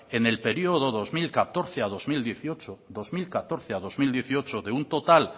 en el periodo dos mil catorce a dos mil dieciocho de un total